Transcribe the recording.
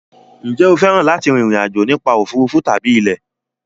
Ǹjẹ́ o fẹ́ràn láti rin ìrìn àjò nípa òfuurufú tàbí ilẹ̀?